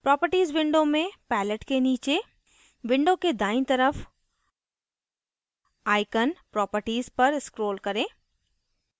properties window में palette के नीचे window के दाईं तरफ icon properties पर scroll करें